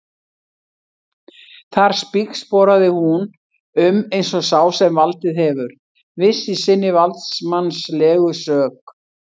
Þar spígsporaði hún um eins og sá sem valdið hefur, viss í sinni valdsmannslegu sök.